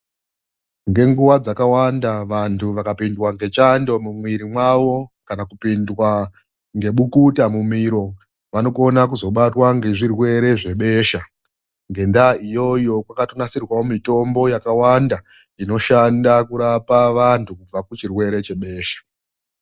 Ngenguva dzakawanda vantu vakapindwa ngechando mumwiri mavo kana kupindwa nebukuta mumiro vanokona kuzobatwa nezvirwere zvebesha. Ngendaa iyoyo kwakatonasirwawo mitombo yakawanda inoshanda kurapa vanthu kubva kuchirwere chebesha.